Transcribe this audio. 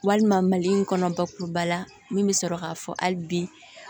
Walima mali in kɔnɔ bakuruba la min bɛ sɔrɔ k'a fɔ hali bi